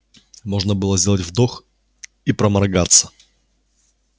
можно было сделать вдох и проморгаться